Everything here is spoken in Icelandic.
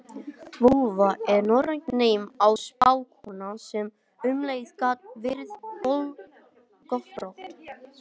Völva er norrænt nafn á spákonu sem um leið gat verið göldrótt.